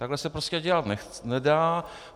Takhle se prostě dělat nedá.